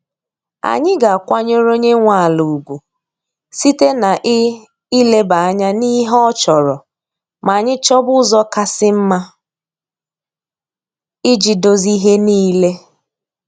Anyị ga-akwanyere onye nwe ala ugwu site na ị ileba anya n'ihe ọ chọrọ ma anyị chọba ụzọ kasị mma iji dozie ihe niile.